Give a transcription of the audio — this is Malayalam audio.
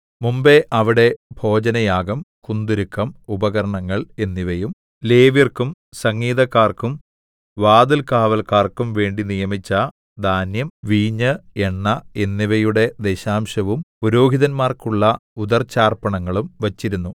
മുമ്പെ അവിടെ ഭോജനയാഗം കുന്തുരുക്കം ഉപകരണങ്ങൾ എന്നിവയും ലേവ്യർക്കും സംഗീതക്കാർക്കും വാതിൽകാവല്ക്കാർക്കും വേണ്ടി നിയമിച്ച ധാന്യം വീഞ്ഞ് എണ്ണ എന്നിവയുടെ ദശാംശവും പുരോഹിതന്മാർക്കുള്ള ഉദർച്ചാർപ്പണങ്ങളും വച്ചിരുന്നു